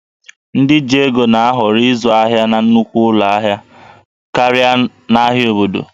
Ndị ji ego na-ahọrọ ịzụ ahịa na nnukwu ụlọ ahịa karịa n'ahịa obodo